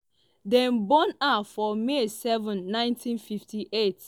dem born her for may 7 1958.